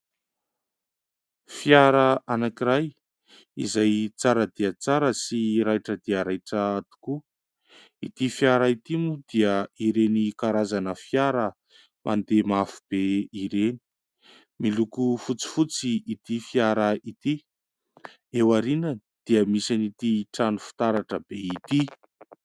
Fiara anankiray izay tsara dia tsara sy raitra dia raitra tokoa. Ity fiara ity moa dia ireny karazana fiara mandeha mafy be ireny. Miloko fotsifotsy ity fiara ity, eo aoriany dia misy ity trano fitaratra be ity.